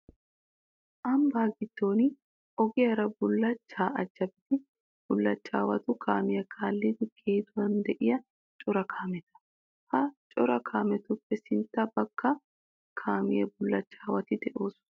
Ambbaa giddon ogiyaara bullachchaa ajabiiddi bullachchaawatu kaamiyaa kaalliiddi geeduwan de'iyaa cora kaameta. Ha cora kaametuppe sintta bagga kaamiyan bullachchaawati de'oosona.